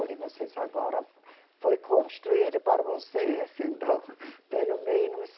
Olhe, vocês agora. Foi construído para vocês, então, pelo menos,